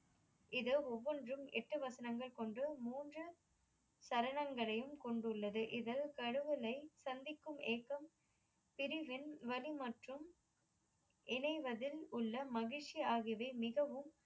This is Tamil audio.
இது ஒவ்வொன்றும் எட்டு வசனங்கள் கொண்டு மூன்று சரணங்களையும் கொண்டுள்ளது. இது கடவுளை சந்திக்கும் ஏக்கம் பிரிவின் வலி மற்றும் இணைவதில் உள்ள மகிழ்ச்சி ஆகியவை மிகவும்